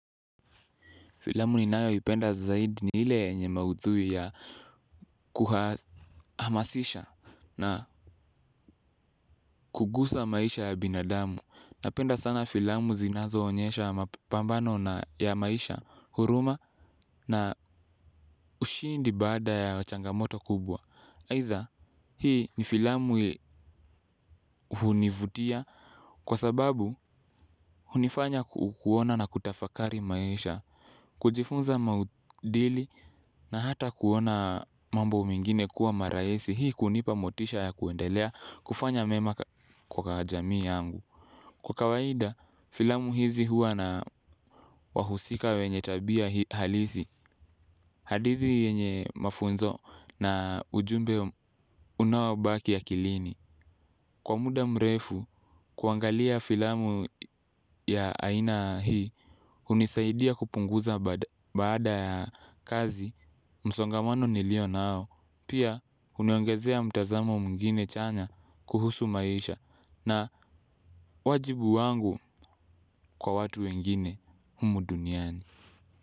Filamu ninayoipenda zaidi ni ile yenye maudhui ya kuhamasisha na kugusa maisha ya binadamu. Napenda sana filamu zinazoonyesha mapambano ya maisha, huruma na ushindi baada ya changamoto kubwa. Aidha hii ni filamu hunivutia kwa sababu hunifanya kuona na kutafakari maisha. Kujifunza maudili na hata kuona mambo mengine kuwa marahisi hii kunipa motisha ya kuendelea kufanya mema kwa jamii yangu. Kwa kawaida, filamu hizi huwa na wahusika wenye tabia halisi, hadithi yenye mafunzo na ujumbe unaobaki akilini. Kwa muda mrefu, kuangalia filamu ya aina hii hunisaidia kupunguza baada ya kazi msongamano nilio nao. Pia huniongezea mtazamo mwingine chanya kuhusu maisha na wajibu wangu kwa watu wengine humu duniani.